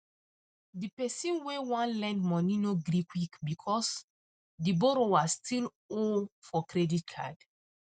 the person wey wan lend money no gree quick because because the borrower still owe for credit card